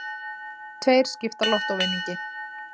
Tveir skipta lottóvinningi